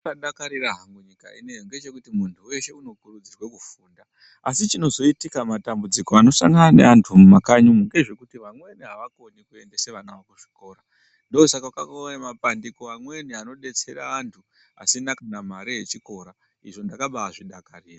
Chandadakarira habgu nyika inei ngechekuti munthu weshe unokurudzirwa kufunda asi chinozoitika matambudziko anosangana neantu mumakanyi umu ngezvekuti vamweni avakoni kuendesa vana vavo kuzvikora ndosaka kwakauya mapandiko amweni anodetsera anthu asina kana mare yechikora, izvo ndakabaazvidakarira.